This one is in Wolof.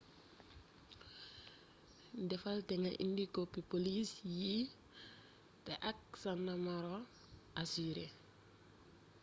defal te nga indi kopi polis yii té ak sa numero asurër